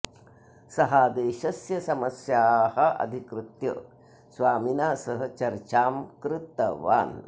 सः देशस्य समस्याः अधिकृत्य स्वामिना सह चर्चां कृतवान्